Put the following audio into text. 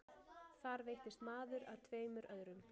Þar veittist maður að tveimur öðrum